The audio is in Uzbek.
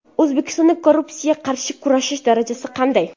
O‘zbekistonda korrupsiyaga qarshi kurashish darajasi qanday?.